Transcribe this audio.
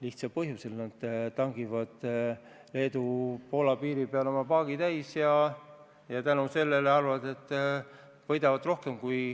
Selle põhjus on lihtne, nad tangivad Leedu-Poola piiril oma paagi täis ja arvavad, et tänu sellele võidavad rohkem.